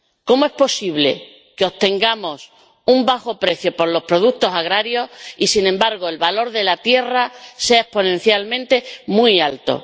¿Cómo es posible que obtengamos un bajo precio por los productos agrarios y, sin embargo, el valor de la tierra sea exponencialmente muy alto?